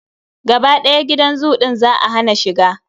Gaba ɗaya gidan zoo ɗin za a hana shiga.